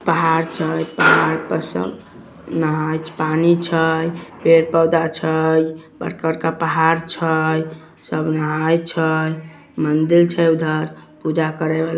पहाड़ छै पहाड़ पर सब नहाए पानी छै पेड़ पौधा छै बड़का-बड़का पहाड़ छै सब नहाए छै मंदिर छै उधर पूजा करे वाला |